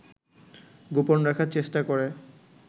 গোপন রাখার চেষ্টা করে